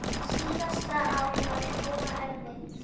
Síðasta ár var Jóa erfitt.